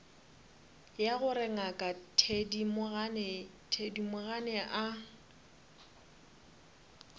ya gore ngaka thedimogane a